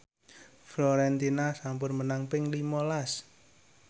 Fiorentina sampun menang ping lima las